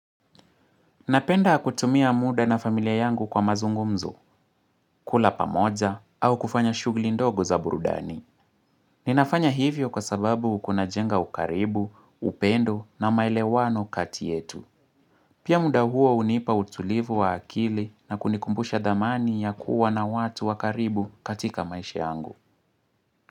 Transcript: Napenda kutumia muda na familia yangu kwa mazungumzo, kula pamoja, au kufanya shugli ndogo za burudani. Ninafanya hivyo kwa sababu kuna jenga ukaribu, upendo na maele wano kati yetu. Pia muda huo unipa utulivu wa akili na kunikumbusha dhamani ya kuwa na watu wakaribu katika maisha yangu.